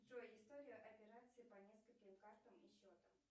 джой история операций по нескольким картам и счетам